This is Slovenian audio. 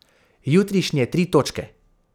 Jutrišnje tri točke.